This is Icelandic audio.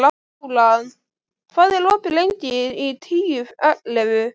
Bjólan, hvað er opið lengi í Tíu ellefu?